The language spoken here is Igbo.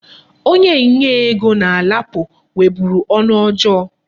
Onye nye ego na LAPO nweburu ọnụ ọjọọ.